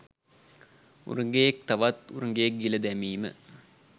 උරගයෙක් තවත් උරගයෙක් ගිල දැමීම